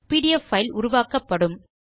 PDF file உருவாக்கப்படும்